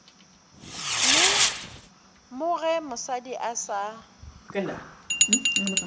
mo ge mosadi a sa